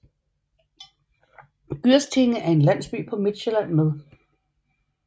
Gyrstinge er en landsby på Midtsjælland med